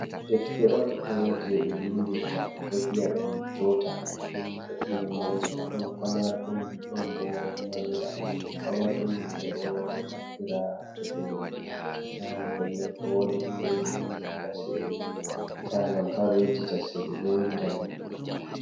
Defte on ɗo je ɓe windirta ɓe ɗo viya ɗum jota, deftere mai ɗon pamar ɗum ɗon bo manga, pamar ɗum ɓe ɗo naftira to be yahan pellel ko wodi ko ɓe yidi ɓevinda sai ɓe ta'a ngam ta ɓe yejita nder.